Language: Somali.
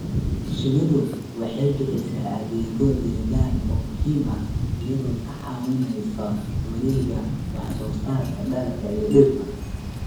Shinnidu waxay bixisaa adeegyo deegaan oo muhiim ah iyadoo ka caawinaysa wareegga wax soo saarka dalagga iyo dhirta.